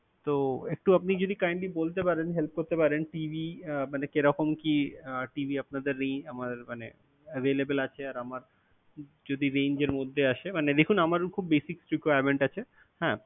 তো একটু আপনি যদি kindly বলতে পারেন help করতে পারেন TV মানে কিরকম কী TV আহ আপনাদের আমার মানে available আছে আর আমার যদি range এর মধ্যে আসে মানে দেখুন আমারও কিছু basic requirement আছে হ্যা।